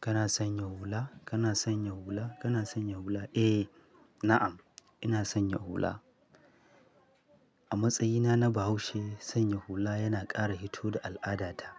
Kana sanya hula? Kana sanya hula? Kana sanya hula? Eh, na'am ina sanya hula. A matsayina na Bahaushe, sanya hula yana ƙara hito da al'adata.